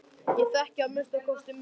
Ég þekki að minnsta kosti minn.